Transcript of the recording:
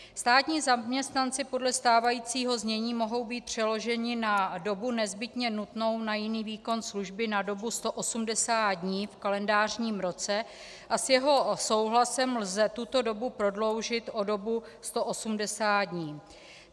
Státní zaměstnanci podle stávajícího znění mohou být přeloženi na dobu nezbytně nutnou na jiný výkon služby na dobu 180 dní v kalendářním roce a s jeho souhlasem lze tuto dobu prodloužit o dobu 180 dní.